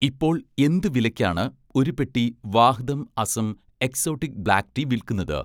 ഇപ്പോൾ എന്ത് വിലയ്ക്കാണ് ഒരു പെട്ടി 'Vahdam' Assam exotic black tea വിൽക്കുന്നത്?